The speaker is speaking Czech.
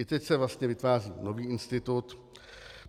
I teď se vlastně vytváří nový institut.